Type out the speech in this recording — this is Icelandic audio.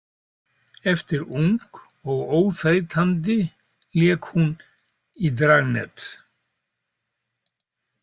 Eftir Ung og óþreytandi lék hún í Dragnet.